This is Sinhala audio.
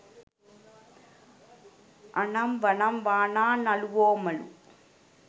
අනම් වනම් වානා නළුවොමලු